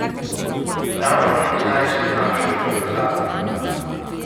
Davno nazaj sem našel povezavo.